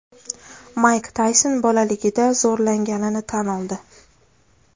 Mayk Tayson bolaligida zo‘rlanganini tan oldi.